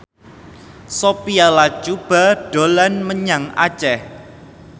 Sophia Latjuba dolan menyang Aceh